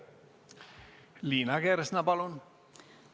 Liina Kersna, palun!